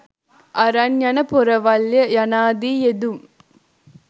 අරන් යන පොරවල්ය යනාදී යෙදුම්